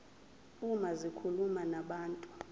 uma zikhuluma nabantu